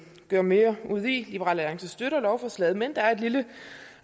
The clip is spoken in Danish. gøre mere ud af liberal alliance støtter lovforslaget men der er et lille